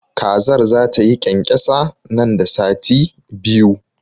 Kazar zata yi ƙyanƙyasa nan da sati biyu.